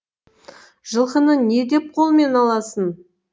жылқыны не деп қолмен аласың